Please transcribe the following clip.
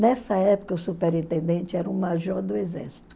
Nessa época, o superintendente era um major do exército.